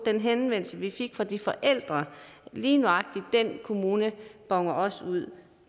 den henvendelse vi fik fra de forældre lige nøjagtig den kommune boner også ud